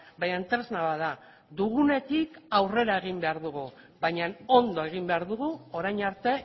baina tresna bat da dugunetik aurrera egin behar dugu baina ondo egin behar dugu orain arte